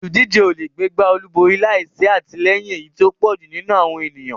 Olùdíje ò lè gbégbá olúborí láì sí àtìlẹyìn èyí tí ó pọ̀ jù nínú àwọn ènìyàn.